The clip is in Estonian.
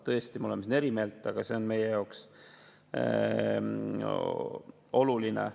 Tõesti, me oleme selles eri meelt, aga see on meie jaoks oluline.